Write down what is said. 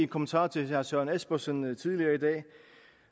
kommentar til herre søren espersen tidligere i dag at